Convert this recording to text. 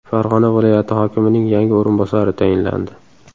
Farg‘ona viloyati hokimining yangi o‘rinbosari tayinlandi.